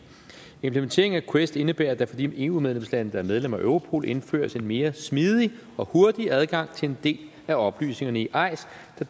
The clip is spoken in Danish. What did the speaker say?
implementeringen af quest indebærer at der for de eu medlemslande der er medlemmer af europol indføres en mere smidig og hurtig adgang til en del af oplysningerne i eis